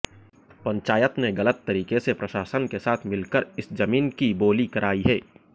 पंचायत ने गलत तरीके से प्रशासन के साथ मिलकर इस जमीन की बोली कराई है